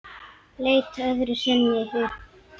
Leit öðru sinni upp.